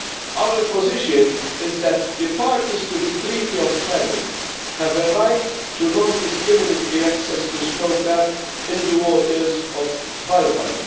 Our position is that the parties to the Treaty of Paris have a right to non discriminatory access to snow crab in the waters of Svalbard.